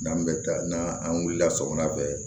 N'an bɛ taa n'an wulila sɔgɔma bɛɛ ye